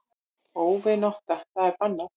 Óvinátta það er bannað.